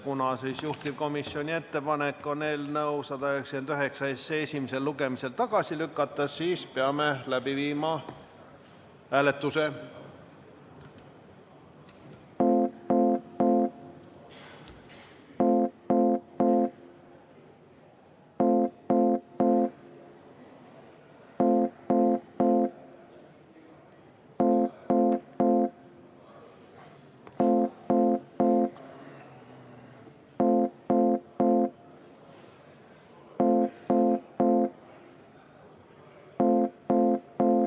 Kuna juhtivkomisjoni ettepanek on eelnõu 199 esimesel lugemisel tagasi lükata, siis peame läbi viima hääletuse.